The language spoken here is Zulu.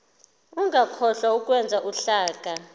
ungakhohlwa ukwenza uhlaka